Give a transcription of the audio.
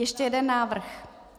Ještě jeden návrh?